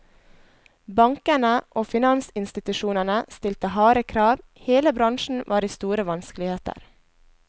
Bankene og finansinstitusjonene stilte harde krav, hele bransjen var i store vanskeligheter.